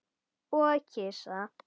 Og kisa.